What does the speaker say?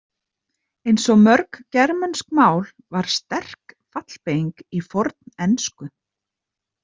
Eins og mörg germönsk mál var sterk fallbeyging í fornensku.